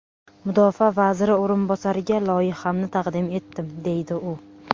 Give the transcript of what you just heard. Mudofaa vaziri o‘rinbosariga loyihamni taqdim etdim, deydi u.